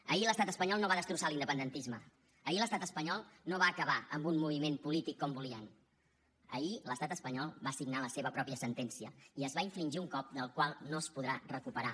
ahir l’estat espanyol no va destrossar l’independentisme ahir l’estat espanyol no va acabar amb un moviment polític com volien ahir l’estat espanyol va signar la seva pròpia sentència i es va infligir un cop del qual no es podrà recuperar